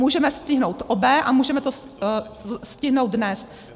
Můžeme stihnout obé a můžeme to stihnout dnes.